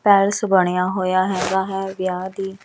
palace ਬਣਿਆ ਹੋਇਆ ਹੈਗਾ ਹੈ ਵਿਆਹ ਦੀ --